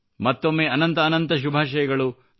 ಮತ್ತೊಮ್ಮೆ ಅನಂತ ಅನಂತ ಶುಭಾಷಯಗಳು